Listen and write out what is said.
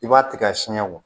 I b'a tigɛ ka siɲɛ bɔ